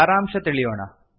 ಸಾರಾಂಶ ತಿಳಿಯೋಣ